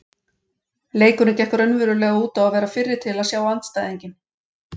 Leikurinn gekk raunverulega út á að verða fyrri til að sjá andstæðinginn.